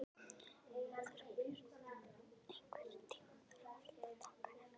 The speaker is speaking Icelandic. Þorbjörn, einhvern tímann þarf allt að taka enda.